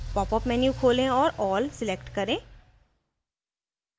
popअप menu खोले और all select करें